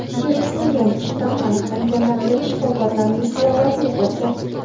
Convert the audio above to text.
Virusning yangi shtammi aniqlangandan beri shifokorlarning halovati yo‘qolgan.